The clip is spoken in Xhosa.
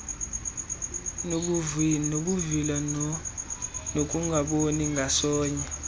nobuvila nokungaboni ngasonye